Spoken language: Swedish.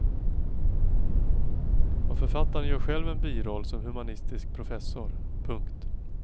Och författaren gör själv en biroll som humanistisk professor. punkt